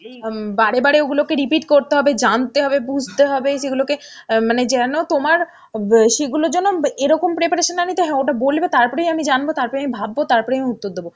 বারে বারে ওগুলোকে repeat করতে হবে, জানতে হবে, বুঝতে হবে সেগুলোকে মানে যেন তোমার সেইগুলোর জন্য এরকম preparation না নিতে হয় ওটা বলবে তারপরেই আমি জানব, তারপরেই আমি ভাববো, তারপরেই আমি উত্তর দেব.